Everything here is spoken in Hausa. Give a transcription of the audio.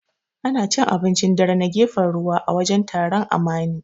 Ana cin abincin dare na gefen ruwa, a wajen taron Amani.